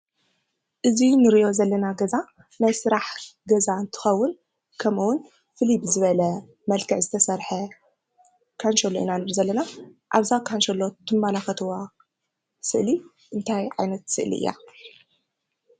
እዚ እንሪኦ ዘለና ገዛ ናይ ስራሕ ገዛ እንትከውን ከምኡ እውን ፍልይ ብዝበለ መልክዕ ዝተሰረሐ ካንሸሎ ኢና ንርኢ ዘለና። ኣብዛ ካንሸሎ እትመላከትዎ ዘለኩም ስእሊ እንታይ ዓይነት ስእሊ እያ?